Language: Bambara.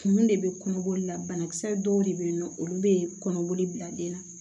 Kun de bɛ kɔnɔboli la banakisɛ dɔw de bɛ yen nɔ olu bɛ kɔnɔboli bila den na